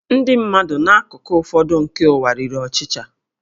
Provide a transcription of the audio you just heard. Ndị mmadụ n'akụkụ ụfọdụ nke ụwa riri ọchịcha